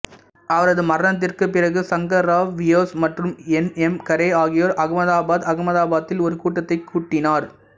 அவரது மரணத்திற்குப் பிறகு சங்கர்ராவ் வியாஸ் மற்றும் என் எம் கரே ஆகியோர் அகமதாபாதுஅகமதாபாத்தில் ஒரு கூட்டத்தை கூட்டினர்